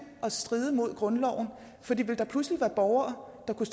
at stride mod grundloven for ville der pludselig være borgere der kunne